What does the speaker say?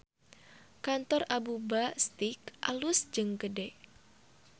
Kantor Abuba Steak alus jeung gede